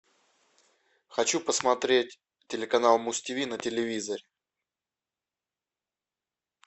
хочу посмотреть телеканал муз тв на телевизоре